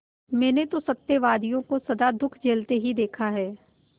मैंने तो सत्यवादियों को सदा दुःख झेलते ही देखा है